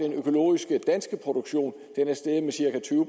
jeg synes